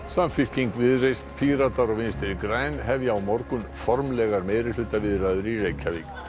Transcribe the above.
Samfylking Viðreisn Píratar og Vinstri græn hefja á morgun formlegar meirihlutaviðræður í Reykjavík